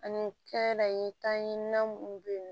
Ani kɛdaye tan ɲi na minnu bɛ yen